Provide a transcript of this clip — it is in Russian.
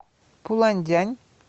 пуланьдянь